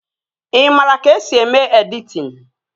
Ị maara ka-esi eme editin?